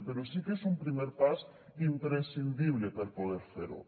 però sí que és un primer pas imprescindible per poder fer ho